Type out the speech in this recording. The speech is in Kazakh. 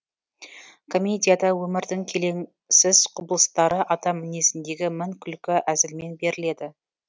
комедияда өмірдің келеңсіз құбылыстары адам мінезіндегі мін күлкі әзілмен беріледі